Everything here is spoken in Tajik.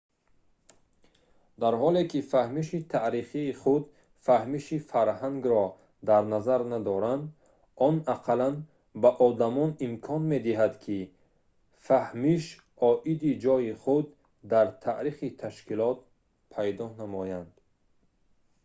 дар ҳоле ки фаҳмиши таърихи худ фаҳмиши фарҳангро дар назар надорад он ақаллан ба одамон имкон медиҳад ки фаҳмиш оиди ҷойи худ дар таърихи ташкилот пайдо намоянд